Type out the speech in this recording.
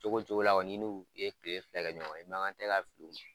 Cogo cogo la kɔni i n'olu ye kile fila kɛ ɲɔgɔn ye, i makan tɛ ka fili o man.